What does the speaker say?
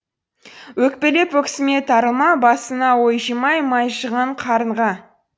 өкпелеп өксіме тарылма басына ой жимай май жиған қарынға